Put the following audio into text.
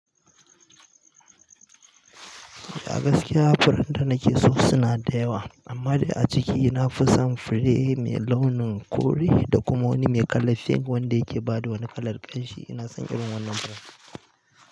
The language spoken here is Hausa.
Ah gaskiya furen da nakeso suna da yawa, amma dai a ciki nafi son fure mai launin kore da kuma wani mai kalar pink wanda yake bada wani kalar ƙamshi ina son irin wannan fure.